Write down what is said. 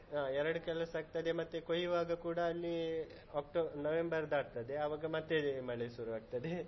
ಹಾ ಎರಡ್ ಕೆಲಸ ಆಗ್ತದೆ, ಮತ್ತೆ ಕೊಯ್ಯುವಾಗ ಕೂಡ ಅಲ್ಲಿ ಅಕ್ಟೋಬ~ ನವೆಂಬರ್ ದಾಟ್ತದೆ ಆವಾಗ ಮತ್ತೆ ಮಳೆ ಸುರು ಆಗ್ತದೆ.